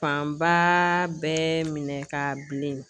Fanba bɛɛ minɛ ka bilen